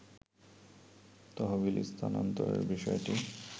তহবিল স্থানান্তরের বিষয়টি